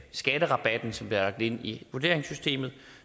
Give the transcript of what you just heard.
skatterabatten som er ind i vurderingssystemet